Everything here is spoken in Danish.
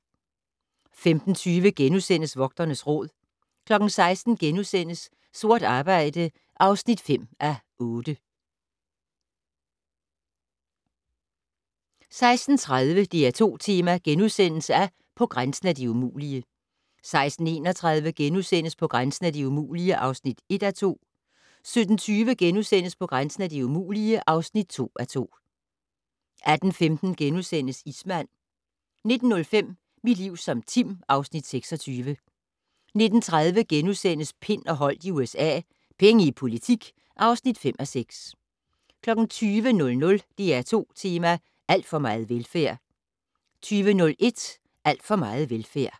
15:20: Vogternes Råd * 16:00: Sort arbejde (5:8)* 16:30: DR2 Tema: På grænsen af det umulige * 16:31: På grænsen af det umulige (1:2)* 17:20: På grænsen af det umulige (2:2)* 18:15: Ismand * 19:05: Mit liv som Tim (Afs. 26) 19:30: Pind og Holdt i USA - Penge i politik (5:6)* 20:00: DR2 Tema: Alt for meget velfærd 20:01: Alt for meget velfærd